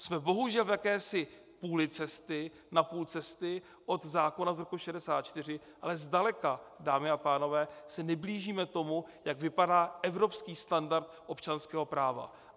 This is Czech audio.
Jsme bohužel v jakési půli cesty, na půl cesty od zákona z roku 1964, ale zdaleka, dámy a pánové, se neblížíme tomu, jak vypadá evropský standard občanského práva.